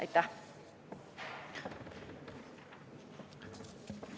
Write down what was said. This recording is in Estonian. Aitäh!